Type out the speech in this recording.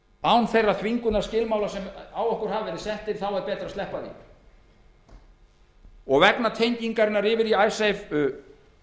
án þeirra þvingunarskilmála sem á okkur hafa verið settir er betra að sleppa því vegna tengingarinnar yfir í icesave